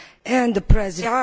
and the President.